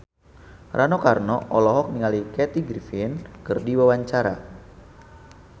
Rano Karno olohok ningali Kathy Griffin keur diwawancara